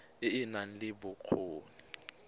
e e nang le bokgoni